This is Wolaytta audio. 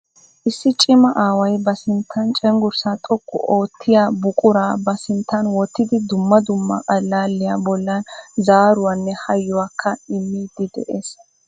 Issi cima aaway ba sinttan cenggurssaa xoqqu oottiyaa buqura ba sinttan wottidi dumma dumma allaaliya bollan zaaruwanne haayyuwaakka immidi de'ees.